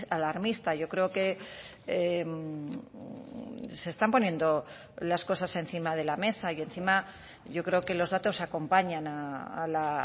alarmista yo creo que se están poniendo las cosas encima de la mesa y encima yo creo que los datos acompañan a la